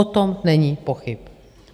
O tom není pochyb.